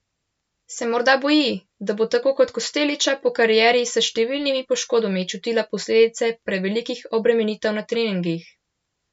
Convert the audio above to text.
Se morda boji, da bo tako kot Kostelića po karieri s številnimi poškodbami čutila posledice prevelikih obremenitev na treningih?